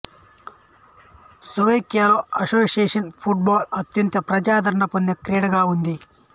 స్లోవేకియాలో association football అత్యంత ప్రజాదరణ పొందిన క్రీడగా ఉంది